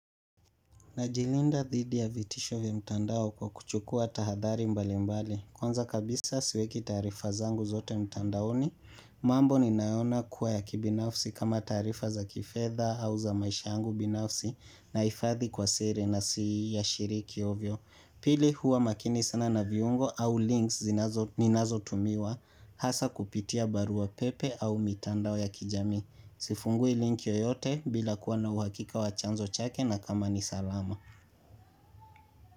Najilinda dhidi ya vitisho vya mtandao kwa kuchukua tahadhari mbali mbali. Kwanza kabisa siweki taarifa zangu zote mtandaoni. Mambo ninayoona kuwa ya kibinafsi kama taarifa za kifedha au za maisha yangu binafsi nahifadhi kwa siri na siyashiriki ovyo. Pili huwa makini sana na viungo au links ninazotumiwa hasa kupitia barua pepe au mitandao ya kijamii. Sifungui link yoyote bila kuwa na uhakika wa chanzo chake na kama ni salama.